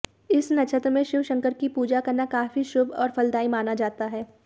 इस नक्षत्र में शिव शंकर की पूजा करना काफी शुभ और फलदायी माना जाता है